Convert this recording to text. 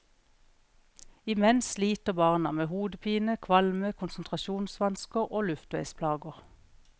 Imens sliter barna med hodepine, kvalme, konsentrasjonsvansker og luftveisplager.